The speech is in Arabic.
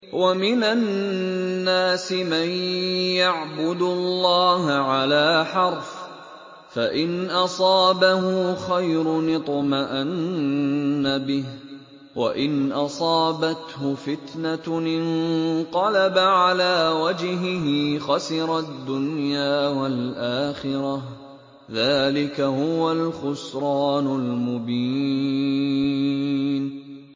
وَمِنَ النَّاسِ مَن يَعْبُدُ اللَّهَ عَلَىٰ حَرْفٍ ۖ فَإِنْ أَصَابَهُ خَيْرٌ اطْمَأَنَّ بِهِ ۖ وَإِنْ أَصَابَتْهُ فِتْنَةٌ انقَلَبَ عَلَىٰ وَجْهِهِ خَسِرَ الدُّنْيَا وَالْآخِرَةَ ۚ ذَٰلِكَ هُوَ الْخُسْرَانُ الْمُبِينُ